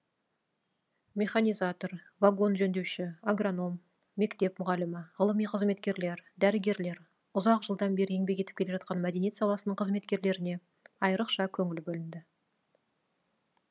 механизатор вагон жөндеуші агроном мектеп мұғалімі ғылыми қызметкерлер дәрігерлер ұзақ жылдан бері еңбек етіп келе жатқан мәдениет саласының қызметкерлеріне айрықша көңіл бөлінді